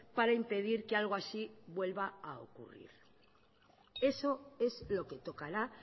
para impedir que algo así vuelva a ocurrir eso es lo que tocará